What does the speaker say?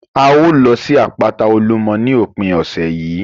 A ó lọ sí àpáta Olúmọ ní òpin ọ̀sẹ̀ yìí